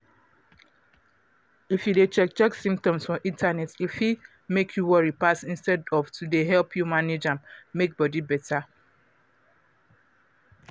if you dey check check symptoms for internet e fit make you worry pass instead of to dey help you manage am make body better.